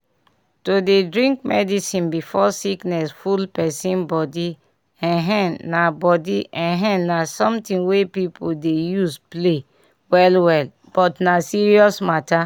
to dey drink medicine before sickness full pesin body[um]na body[um]na something wey people dey use play well well but na serious mata